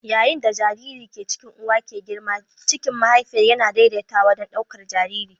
Yayin da jaririn da ke cikin uwa ke girma, jikin mahaifiyar yana daidaitawa don ɗaukar jariri.